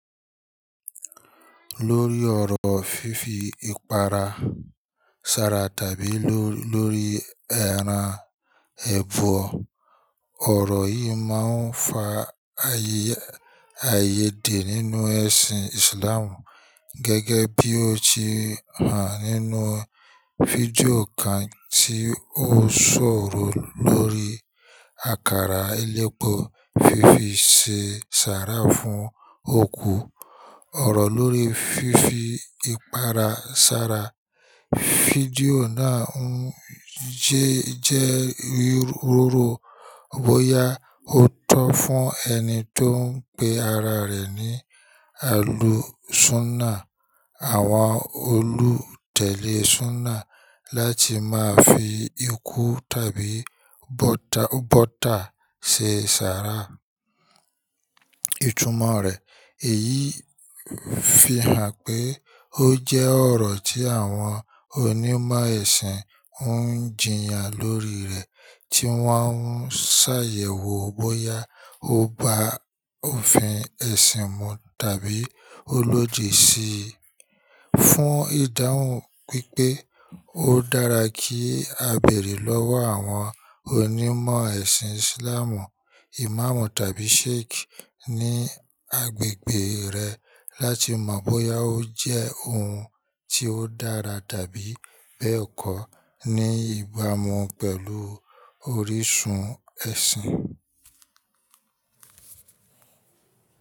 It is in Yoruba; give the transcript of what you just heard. Lórí ọ̀rọ̀ fífi ìpara ṣara tàbí lọ́ lórí ẹran ẹbọ. Ọ̀rọ̀ yìí máa ń fa ayé ayèdè nínú ẹ̀sìn Islam gẹ́gẹ́ bí ó ti hàn nínú fídíò kan tí ó sọ̀rọ̀ lórí àkàrà elépo fífi ṣe ṣara fún òkú. Ọ̀rọ̀ lórí fífi ìpara ṣara. Fídíò náà ń jẹ́ jẹ́ rírọ̀rọ̀ bóyá ó tọ́ fún ẹni tó ń pé ara rẹ̀ ní àlùsúnà, àwọn olùtẹ̀lé súnà láti máa fi ikú tàbí bọ́ta bọ́ta ṣe ṣara. Ìtumọ̀ rẹ̀ èyí fi hàn pé ó jẹ́ ọ̀rọ̀ tí àwọn onímọ̀ ẹ̀sìn ń jiyàn lórí rẹ̀ tí wọ́n ń ṣàyẹ̀wò bóyá ó bá òfin ẹ̀sìn mu tàbí ó lòdì sí i. Fún ìdáhùn pípé ó dára kí a bèrè lọ́wọ́ àwọn onímọ̀ ẹ̀sìn Islam, Imam tàbí Sheikh ní agbègbè rẹ láti mọ̀ bóyá ó jẹ́ ohun tí ó dára tàbí bẹ́ẹ̀ kọ́ ní ìbámu pẹ̀lú orísun ẹ̀sìn.